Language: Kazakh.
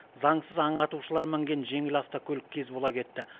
заңсыз аң атушылар мінген жеңіл автокөлік кез бола кетті